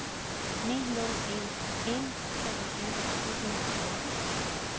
ni nul en en treogtyve syv hundrede og fjorten